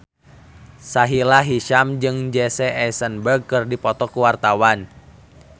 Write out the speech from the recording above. Sahila Hisyam jeung Jesse Eisenberg keur dipoto ku wartawan